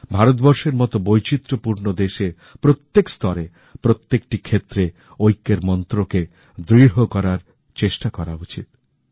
ভারতবর্ষের মতো বৈচিত্রপূর্ণ দেশে প্রত্যেক স্তরে প্রত্যেকটি ক্ষেত্রে ঐক্যের মন্ত্রকে দৃঢ় করার চেষ্টা করা উচিত